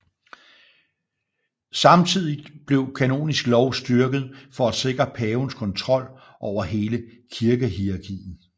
Samtidigt blev kanonisk lov styrket for at sikre pavens kontrol over hele kirkehierarkiet